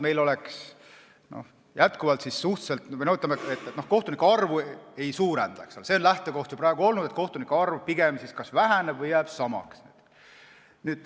Lähtekoht on praegu olnud selline, et kohtunike arv pigem kas väheneb või jääb samaks.